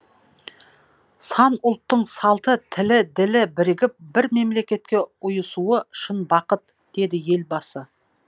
сан ұлттың салты тілі ділі бірігіп бір мемлекетке ұйысуы шын бақыт деді елбасы